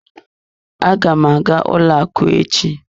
Aga m aga ụlọ akụ echi.